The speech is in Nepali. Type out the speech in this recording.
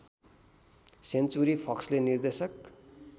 सेन्चुरी फक्सले निर्देशक